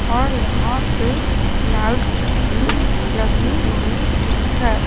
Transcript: और यहां पे लाइट्स भी लगी हुई है।